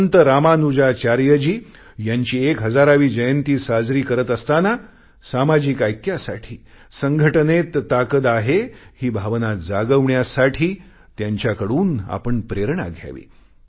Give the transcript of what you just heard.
संत रामानुजाचार्यजी यांची एक हजारावी जयंती साजरी करत असताना सामाजिक ऐक्यासाठी संघटनेत ताकद आहे ही भावना जागवण्यासाठी त्यांच्याकडून आपण प्रेरणा घ्यावी